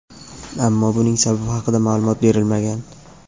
ammo buning sababi haqida ma’lumot berilmagan.